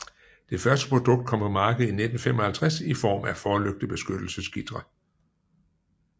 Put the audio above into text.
Det første produkt kom på markedet i 1955 i form af forlygtebeskyttelsesgitre